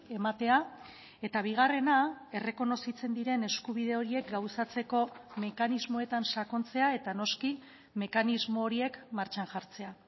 ematea eta bigarrena errekonozitzen diren eskubide horiek gauzatzeko mekanismoetan sakontzea eta noski mekanismo horiek martxan jartzea